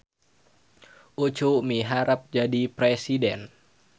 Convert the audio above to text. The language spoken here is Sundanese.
Ucu miharep jadi presiden